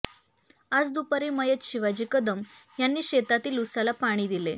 आज दुपारी मयत शिवाजी कदम यांनी शेतातील ऊसाला पाणी दिले